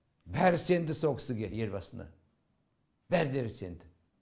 бәрі сенді со кісіге елбасыға бәрідері сенді